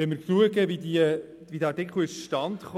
Bei Betrachtung der Entstehung des Artikels kann festgestellt